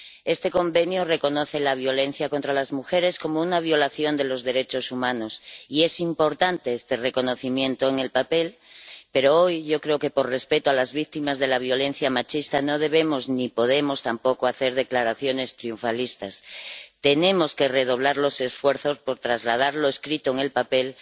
Este Convenio reconoce la violencia contra las mujeres como una violación de los derechos humanos y es importante este reconocimiento en el papel, pero hoy, yo creo que por respeto a las víctimas de la violencia machista, no debemos ni podemos tampoco hacer declaraciones triunfalistas. Tenemos que redoblar los esfuerzos por trasladar lo escrito en el papel